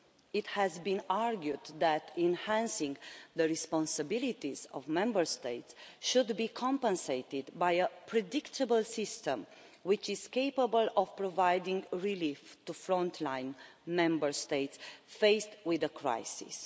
It has been argued that enhancing the responsibilities of Member States should be compensated by a predictable system which is capable of providing relief to frontline Member States faced with a crisis.